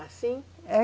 Assim? É